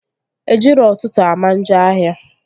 Ejiro ụtụtụ ama njọ ahịa